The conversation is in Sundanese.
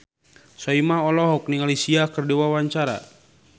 Soimah olohok ningali Sia keur diwawancara